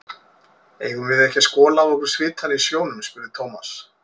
Eigum við ekki að skola af okkur svitann í sjónum? spurði Thomas.